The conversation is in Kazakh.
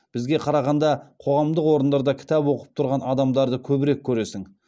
бізге қарағанда қоғамдық орындарда кітап оқып тұрған адамдарды көбірек көресің